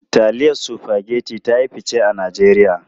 Taliyan Spaghetti ta yi fice a Najeriya.